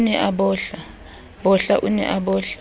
bohla o ne a bohla